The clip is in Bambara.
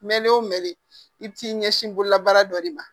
Mɛ l'o mɛ de i bɛ t'i ɲɛsin bololabaara dɔ de ma